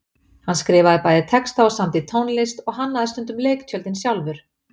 Hann skrifaði bæði texta og samdi tónlist og hannaði stundum leiktjöldin sjálfur.